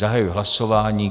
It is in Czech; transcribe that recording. Zahajuji hlasování.